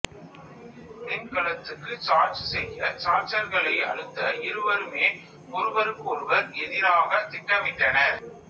மின்கலத்துக்கு charge செய்ய சார்ஜர்களை அழுத்த இருவருமே ஒருவருக்கு ஒருவர் எதிராக திட்டமிட்டனர்